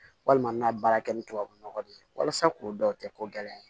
Walima n ka baara kɛ ni tubabunɔgɔ de ye walasa k'o dɔn o tɛ ko gɛlɛn ye